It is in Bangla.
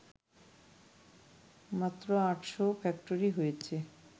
মাত্র আটশো ফ্যাক্টরি হয়েছে